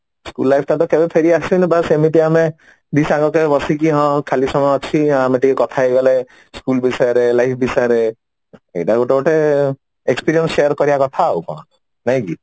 school life ତ କେବେ ଫେରି ଆସେନି ବାସ ଏମିତି ଆମେ ଦି ସାଙ୍ଗ କାଇଁ ବସିକି ଖାଲି ସମୟ ଅଛି ହଁ ଆମେ ଟିକେ କଥା ହେଇଗଲେ school ବିଷୟରେ life ବିଷୟରେ ହେଇଟା ଗୋଟେ ଗୋଟେ experience ଶେୟାର କରିବା କଥା ଆଉ କଣ ନାଇଁ କି